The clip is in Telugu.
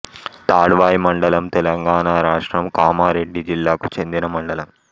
తాడ్వాయి మండలం తెలంగాణ రాష్ట్రం కామారెడ్డి జిల్లాకు చెందిన మండలం